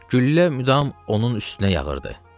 Güllə müdam onun üstünə yağırdı.